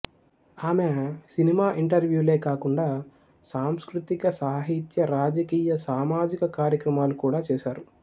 ఆమె సినిమా ఇంటర్వ్యూలే కాకుండా సాంస్కృతిక సాహిత్య రాజకీయ సామాజిక కార్యక్రమాలు కూడా చేసారు